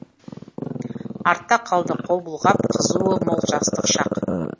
артта қалды қол бұлғап қызуы мол жастық шақ